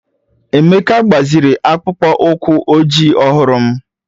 Emeka gbaziri akpụkpọ ụkwụ ojii ọhụrụ m